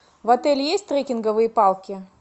в отеле есть трекинговые палки